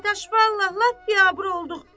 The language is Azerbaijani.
Dadaş, vallahi lap biabır olduq.